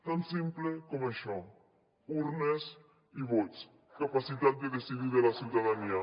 tan simple com això urnes i vots i capacitat de decidir de la ciutadania